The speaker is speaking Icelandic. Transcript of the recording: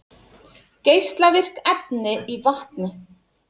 Geislavirk efni í vatni